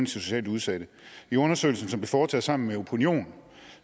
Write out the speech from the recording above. socialt udsatte i undersøgelsen som blev foretaget sammen med opinion